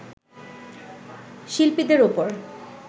শিল্পীদের ওপর